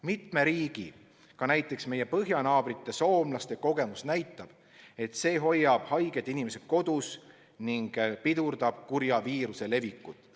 Mitme riigi, ka näiteks meie põhjanaabrite soomlaste kogemus näitab, et see hoiab haiged inimesed kodus ning pidurdab kurja viiruse levikut.